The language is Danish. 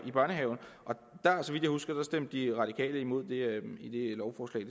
i børnehaven så vidt jeg husker stemte de radikale imod det lovforslag